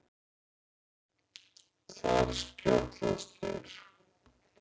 Þar skjátlast þér.